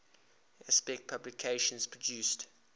aspect productions produced